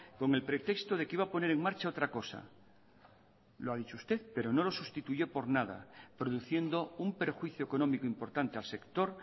con el pretexto de que iba a poner en marcha otra cosa lo ha dicho usted pero no lo sustituyó por nada produciendo un perjuicio económico importante al sector